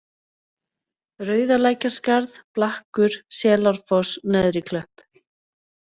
Rauðalækjarskarð, Blakkur, Selárfoss, Neðriklöpp